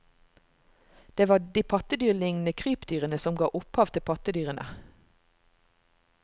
Det var de pattedyrlignende krypdyrene som ga opphav til pattedyrene.